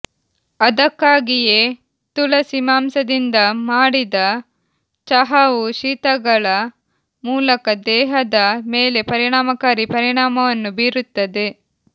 ಅದಕ್ಕಾಗಿಯೇ ತುಳಸಿ ಮಾಂಸದಿಂದ ಮಾಡಿದ ಚಹಾವು ಶೀತಗಳ ಮೂಲಕ ದೇಹದ ಮೇಲೆ ಪರಿಣಾಮಕಾರಿ ಪರಿಣಾಮವನ್ನು ಬೀರುತ್ತದೆ